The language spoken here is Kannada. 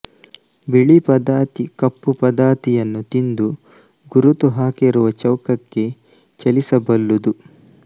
ಬಿಳಿ ಪದಾತಿ ಕಪ್ಪು ಪದಾತಿಯನ್ನು ತಿಂದು ಗುರುತು ಹಾಕಿರುವ ಚೌಕಕ್ಕೆ ಚಲಿಸಬಲ್ಲುದು